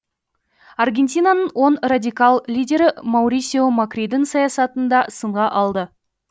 аргентинаның оң радикал лидері маурисио макридің саясатын да сынға алды